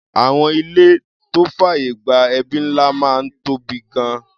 Àwọn ìlé tó fàyè gba ẹbí ńlá máa ń tóbi gan-an.